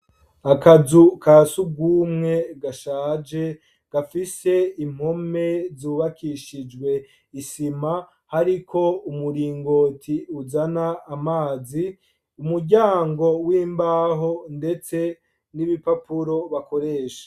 Akazu ka surwumwe, gashaje, gafise impome zubakishijwe isima, hariko umuringoti, uzana amazi, umuryango w'imbaho, ndetse n'ibipapuro, bakoresha.